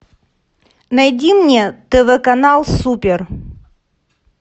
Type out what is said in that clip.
найди мне тв канал супер